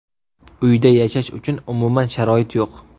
Uyda yashash uchun umuman sharoit yo‘q.